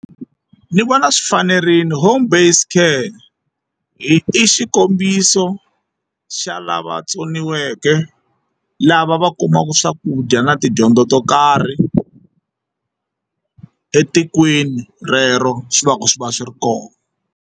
Ni vona swi fanerile home based care i xikombiso xa lava tsoniweke lava va kumaka swakudya na tidyondzo to karhi etikweni rero swi va swi va swi ri kona.